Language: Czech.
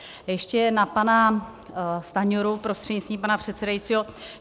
Ještě na pana Stanjuru prostřednictvím pana předsedajícího.